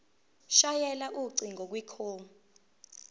shayela ucingo kwicall